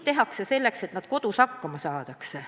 Tehakse kõik selleks, et nad kodus hakkama saaksid.